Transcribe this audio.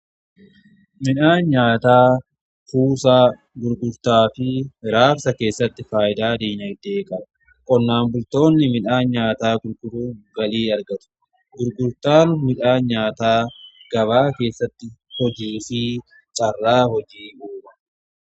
Midhaan nyaataa kuusaa gurgurtaa fi raabsaa keessatti faayidaa dinagdee qaba. Qonnaan bultoonni midhaan nyaataa gurguruun galii argatu. Gurgurtaan midhaan nyaataa gabaa keessatti hojii fi carraa hojii uuma.